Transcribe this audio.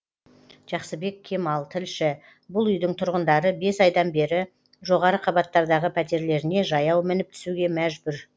жақсыбек кемал тілші бұл үйдің тұрғындары бес айдан бері жоғары қабаттардағы пәтерлеріне жаяу мініп түсуге мәжбүр